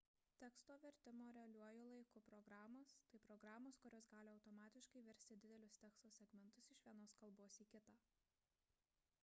teksto vertimo realiuoju laiku programos – tai programos kurios gali automatiškai versti didelius teksto segmentus iš vienos kalbos į kitą